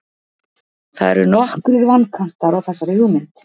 það eru nokkrir vankantar á þessari hugmynd